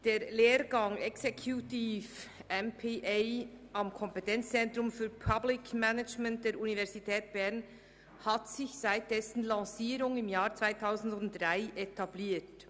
Der Lehrgang Executive MPA am Kompetenzzentrum für Public Management der Universität Bern hat sich seit dessen Lancierung im Jahr 2003 etabliert.